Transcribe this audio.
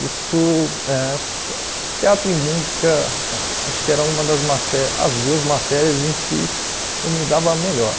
Isso, eh teatro e música, acho que eram um das maté as duas matérias em que eu me dava melhor.